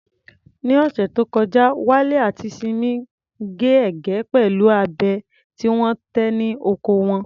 Ní ọ̀sẹ̀ tó kọjá, Wale àti Simi gé ẹ̀gẹ́ pẹ̀lú abẹ tí wọ́n tẹ̀ ní oko wọn.